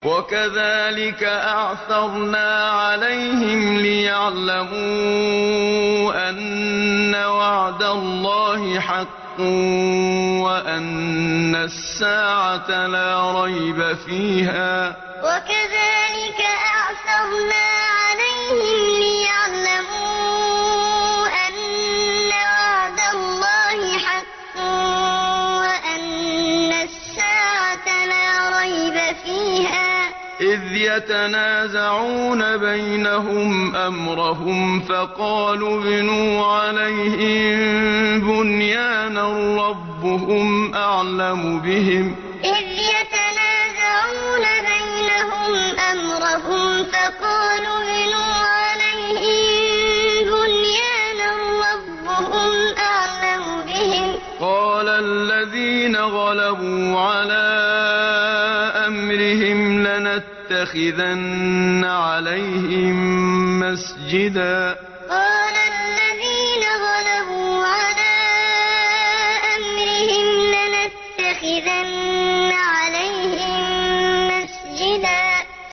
وَكَذَٰلِكَ أَعْثَرْنَا عَلَيْهِمْ لِيَعْلَمُوا أَنَّ وَعْدَ اللَّهِ حَقٌّ وَأَنَّ السَّاعَةَ لَا رَيْبَ فِيهَا إِذْ يَتَنَازَعُونَ بَيْنَهُمْ أَمْرَهُمْ ۖ فَقَالُوا ابْنُوا عَلَيْهِم بُنْيَانًا ۖ رَّبُّهُمْ أَعْلَمُ بِهِمْ ۚ قَالَ الَّذِينَ غَلَبُوا عَلَىٰ أَمْرِهِمْ لَنَتَّخِذَنَّ عَلَيْهِم مَّسْجِدًا وَكَذَٰلِكَ أَعْثَرْنَا عَلَيْهِمْ لِيَعْلَمُوا أَنَّ وَعْدَ اللَّهِ حَقٌّ وَأَنَّ السَّاعَةَ لَا رَيْبَ فِيهَا إِذْ يَتَنَازَعُونَ بَيْنَهُمْ أَمْرَهُمْ ۖ فَقَالُوا ابْنُوا عَلَيْهِم بُنْيَانًا ۖ رَّبُّهُمْ أَعْلَمُ بِهِمْ ۚ قَالَ الَّذِينَ غَلَبُوا عَلَىٰ أَمْرِهِمْ لَنَتَّخِذَنَّ عَلَيْهِم مَّسْجِدًا